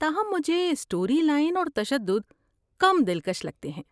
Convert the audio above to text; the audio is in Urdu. تاہم، مجھے اسٹوری لائن اور تشدد کم دلکش لگتے ہیں۔